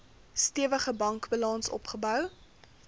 stewige bankbalans opgebou